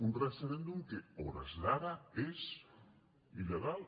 un referèndum que a hores d’ara és il·legal